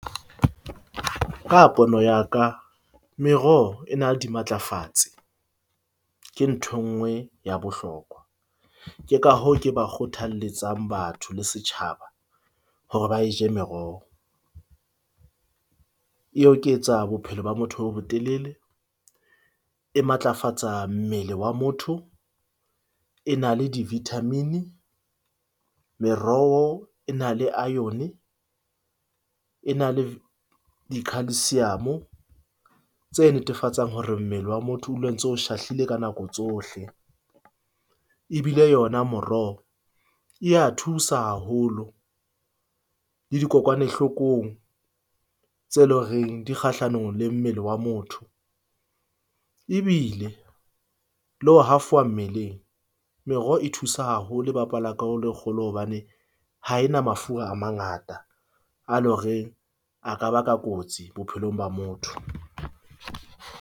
Ka pono ya ka meroho e na dimatlafatsi. Ke ntho e nngwe ya bohlokwa, ke ka hoo, ke ba kgothalletsang batho le setjhaba hore ba e je meroho e oketsa bophelo ba motho bo bo telele. E matlafatsa mmele wa motho. E na le di-vitamin-i. Meroho e na le iron-e, e na le di khalsiamo tse netefatsang hore mmele wa motho o dula o ntse o shahlile ka nako tsohle. Ebile yona moroho e a thusa haholo le dikokwanahlokong tse leng horeng di kgahlanong le mmele wa motho. Ebile le ho hafowa mmeleng. Meroho e thusa haholo. E bapala karolo e kgolo hobane ha ena mafura a mangata a le horeng a ka ba ka kotsi bophelong ba motho.